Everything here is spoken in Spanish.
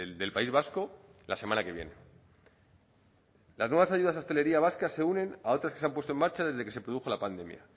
del país vasco la semana que viene las nuevas ayudas a la hostelería vasca se unen a otras que se han puesto en marcha desde que se produjo la pandemia